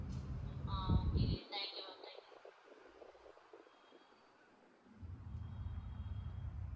ah okay thank you ma'am thank you